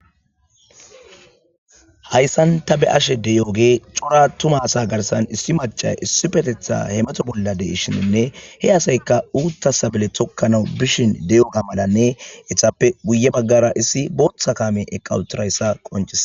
hayssan ta be'ashe diyoogey cora atuma asa garsan issi maca issipetetha hemato bollade shininne he asayka uutta sabale tokkana bishin deyo kamalanne ethappe guye baggara issi booththa kaamey eqqi utirayssa qoncises